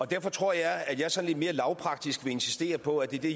derfor tror jeg at jeg sådan lidt mere lavpraktisk vil insistere på at det er det